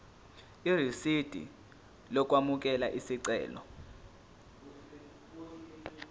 irisidi lokwamukela isicelo